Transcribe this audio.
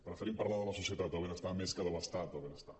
preferim parlar de la societat del benestar més que de l’estat del benestar